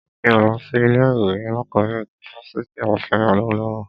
Mi ò lọ sí ilé ìwé alákọ̀bẹ̀rẹ̀ ti fáfitì Obafemi Awolowo.